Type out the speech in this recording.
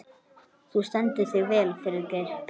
Þú stendur þig vel, Friðgeir!